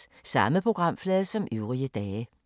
Samme programflade som øvrige dage